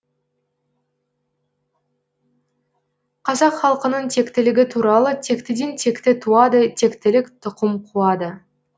қазақ халқының тектілігі туралы тектіден текті туады тектілік тұқым қуады